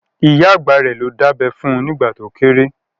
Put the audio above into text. Ìyá àgbà rẹ̀ ló dábẹ́ fun nìgbà to kéré